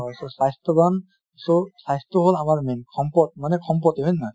হয় so স্বাস্থ্য়ৱান so স্বাস্থ্য় হʼল আমাৰ main সম্পদ মানে সম্পত্তি হয় নে নহয়?